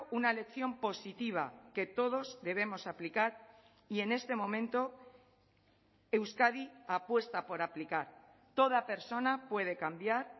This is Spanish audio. una lección positiva que todos debemos aplicar y en este momento euskadi apuesta por aplicar toda persona puede cambiar